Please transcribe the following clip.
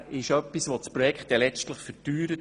Damit würde das Projekt letztlich verteuert.